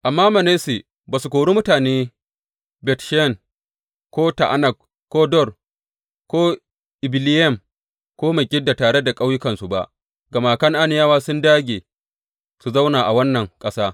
Amma Manasse ba su kori mutane Bet Sheyan ko Ta’anak ko Dor ko Ibileyam ko Megiddo tare da ƙauyukansu ba, gama Kan’aniyawa sun dāge su zauna a wannan ƙasa.